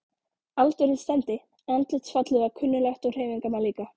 Aldurinn stemmdi, andlitsfallið var kunnuglegt og hreyfingarnar líka.